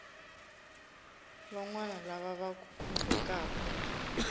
van wana lava va khumbekaku